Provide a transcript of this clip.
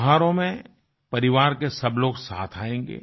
त्यौहारों में परिवार के सब लोग साथ आयेंगे